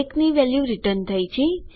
એકની value return થઈ છે